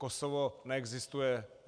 Kosovo neexistuje.